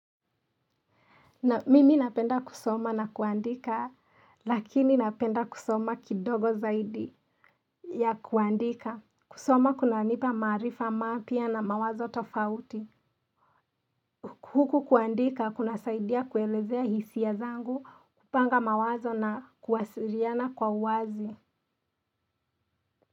Mimi napenda kusoma na kuandika, lakini napenda kusoma kidogo zaidi ya kuandika. Kusoma kuna nipa marifa mapia na mawazo tofauti. Huku kuandika kuna saidia kuelezea hisiya zangu, kupanga mawazo na kuwasiriana kwa wazi.